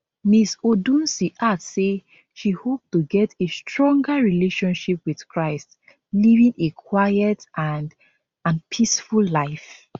ms odunsi add say she hope to get a stronger relationship with christ living a quiet and and peaceful life